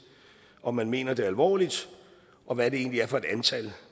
om man mener det alvorligt og hvad det egentlig er for et antal